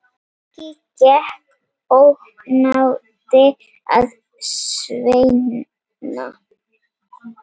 Siggi gekk ógnandi að Svenna.